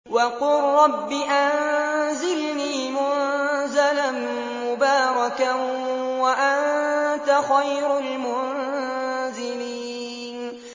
وَقُل رَّبِّ أَنزِلْنِي مُنزَلًا مُّبَارَكًا وَأَنتَ خَيْرُ الْمُنزِلِينَ